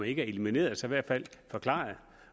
ikke elimineret så i hvert fald forklaret